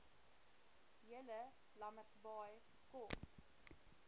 julle lambertsbaai kom